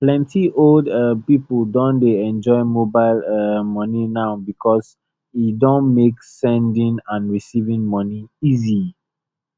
plenty old um people don dey enjoy mobile um money now because e don make sending and receiving money easy